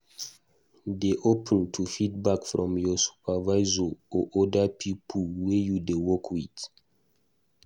Dey open to feedback from your supervisor or oda pipo wey you dey work with